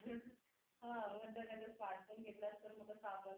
हा म्हणतात अगं smartphone घेतलास तर मग कस आपण कधीतरी videocall करू